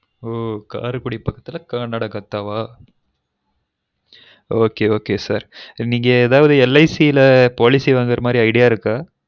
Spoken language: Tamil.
ஒ காரைகுடி பக்கதுல கானாடுகாதன okay okey sir நீங்க எதும் LIC ல policy வாங்குறமாரி idea இருக்கா